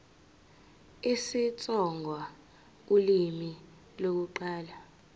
isitsonga ulimi lokuqala